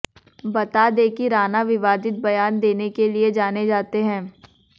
बता दें कि राणा विवादित बयान देने के लिए जाने जाते हैं